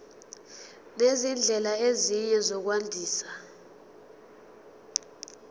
nezindlela ezinye zokwandisa